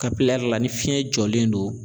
ni fiyɛn jɔlen don